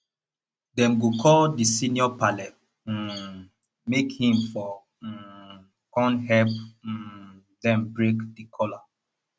dem go call di senior parle um make him for um kon help um dem break the kola